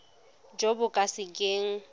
jo bo ka se keng